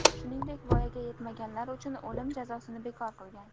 shuningdek voyaga yetmaganlar uchun o‘lim jazosini bekor qilgan.